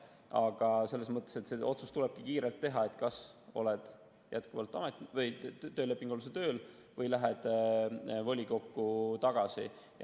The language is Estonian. Aga see otsus tulebki kiirelt teha, et kas oled jätkuvalt töölepingu alusel tööl või lähed volikokku tagasi.